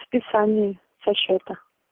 списание со счета